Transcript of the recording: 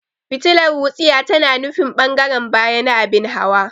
Fitilar wutsiya tana nufin ɓangaren baya na abin hawa.